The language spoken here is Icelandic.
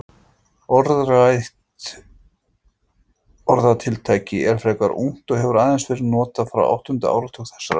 Umrætt orðatiltæki er frekar ungt og hefur aðeins verið notað frá áttunda áratug þessarar aldar.